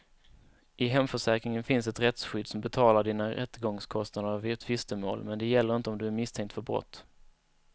I hemförsäkringen finns ett rättsskydd som betalar dina rättegångskostnader vid tvistemål, men det gäller inte om du är misstänkt för brott.